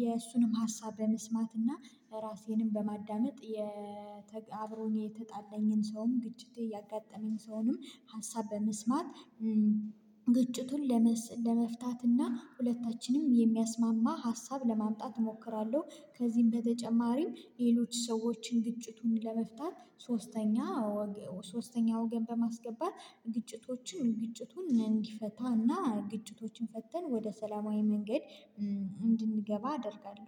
የእሱንም ሀሳብ በመስማትና ራሴንም በማዳመጥ። አብሮኝ የተጣለኝን ሰውም ግጭቴ ያጋጠመኝ ሰውንም ሀሳብ በመስማት። ግጭቱን ለመፍታት እና ሁለታችንም የሚያስማማ ሀሳብ ለማምጣት እሞክራለሁ። ከዚህም በተጨማሪም ሌሎች ሰዎችን ግጭቱን ለመፍታት ሶስተኛ ሶስተኛ ወገን በማስገባት ግጭቶችን ግጭቱን እንዲፈታና ግጭቶችን ፈተን ወደ ሰላማዊ መንገድ እንድንገባ አደርጋለሁ።